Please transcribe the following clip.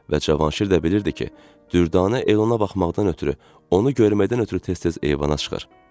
Və Cavanşir də bilirdi ki, Dürdanə el ona baxmaqdan ötrü, onu görməkdən ötrü tez-tez eyvana çıxır.